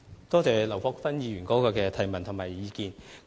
多謝劉國勳議員提出的質詢和意見。